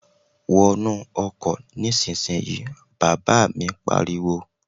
Wo inú ọkọ̀ nísinsìnyí, bàbá mi pariwo